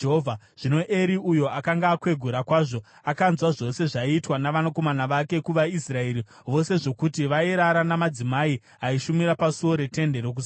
Zvino Eri, uyo akanga akwegura kwazvo, akanzwa zvose zvaiitwa navanakomana vake kuvaIsraeri vose zvokuti vairara namadzimai aishumira pasuo reTende Rokusangana.